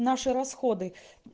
наши расходы